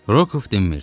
Rokov dinmirdi.